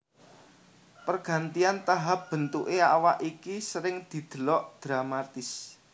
Pergantian tahap bentuké awak iki sering didelok dramatis